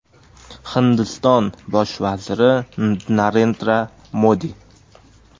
Hindiston Bosh vaziri Narendra Modi.